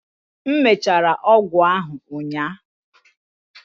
m mechara ọgwụ ahụ ụnyaahụ